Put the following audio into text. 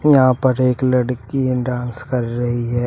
यहां पर एक लड़की डांस कर रही है।